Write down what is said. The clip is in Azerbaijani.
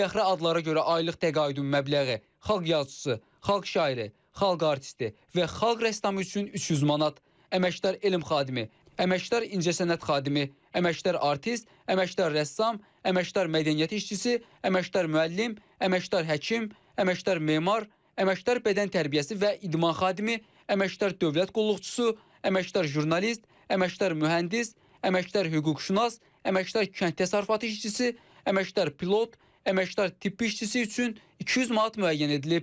Fəxri adlara görə aylıq təqaüdün məbləği xalq yazıçısı, xalq şairi, xalq artisti və xalq rəssamı üçün 300 manat, əməkdar elm xadimi, əməkdar incəsənət xadimi, əməkdar artist, əməkdar rəssam, əməkdar mədəniyyət işçisi, əməkdar müəllim, əməkdar həkim, əməkdar memar, əməkdar bədən tərbiyəsi və idman xadimi, əməkdar dövlət qulluqçusu, əməkdar jurnalist, əməkdar mühəndis, əməkdar hüquqşünas, əməkdar kənd təsərrüfatı işçisi, əməkdar pilot, əməkdar tibb işçisi üçün 200 manat müəyyən edilib.